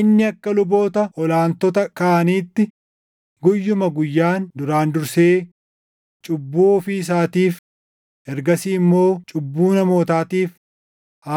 Inni akka luboota ol aantota kaaniitti guyyuma guyyaan duraan dursee cubbuu ofii isaatiif, ergasii immoo cubbuu namootaatiif